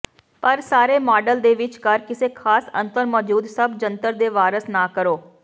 ਪਰ ਸਾਰੇ ਮਾਡਲ ਦੇ ਵਿਚਕਾਰ ਕਿਸੇ ਖਾਸ ਅੰਤਰ ਮੌਜੂਦ ਸਭ ਜੰਤਰ ਦੇ ਵਾਰਸ ਨਾ ਕਰੋ